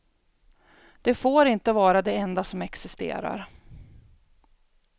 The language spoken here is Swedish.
Det får inte vara det enda som existerar.